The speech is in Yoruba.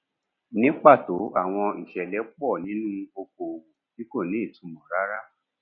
ní pàtó àwọn ìṣẹlẹ pọ nínú okòòwò tí kò ní ìtumọ rárá